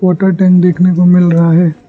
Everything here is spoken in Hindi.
वॉटर टैंक देखने को मिल रहा है।